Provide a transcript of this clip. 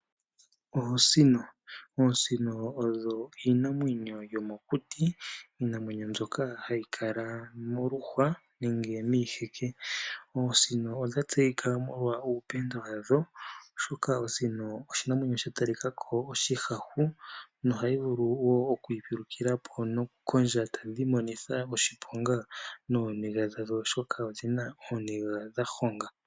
Oosino odho iinamwenyo yomokuti mbyoka hayi kala moluhwa nenge miiheke. Oosino odha tseyika molwa uupenda wa dho oshoka osino oshinamwenyo sha talikako oshihahu nohayi vulu wo okwiipulukilapo nokukondja e tadhi imonitha oshiponga nooniga dhadho oshoka odhi na ooniga dha honga.